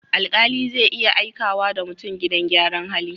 Alƙali zai iya aikawa da mutum gidan gyaran hali.